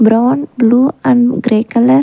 Brown blue and grey color.